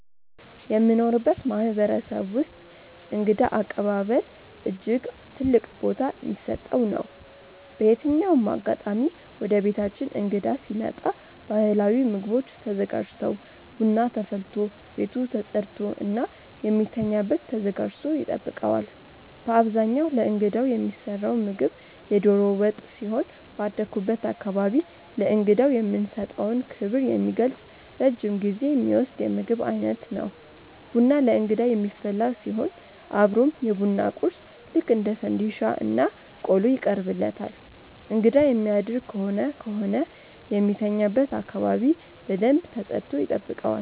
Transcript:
የምኖርበት ማህበረሰብ ውስጥእንግዳ አቀባበል እጅግ ትልቅ ቦታ ሚሰጠው ነው። በየትኛውም አጋጣሚ ወደቤታችን እንግዳ ሲመጣ ባህላዊ ምግቦች ተዘጋጅተው፣ ቡና ተፈልቶ፣ ቤቱ ተፀድቶ እና የሚተኛበት ተዘጋጅቶ ይጠብቀዋል። በአብዛኛው ለእንግዳው የሚሰራው ምግብ የዶሮ ወጥ ሲሆን ባደኩበት አካባቢ ለእንግዳው የምንሰጠውን ክብር የሚገልጽ ረጅም ጊዜ ሚወስድ የምግብ ዓይነት ነው። ቡና ለእንግዳ የሚፈላ ሲሆን አብሮም የቡና ቁርስ ልክ እንደ ፈንዲሻ እና ቆሎ ይቀርብለታል እንግዳ የሚያደር ከሆነ ከሆነ የሚተኛበት አካባቢ በደንብ ተጸድቶ ይጠብቀዋል።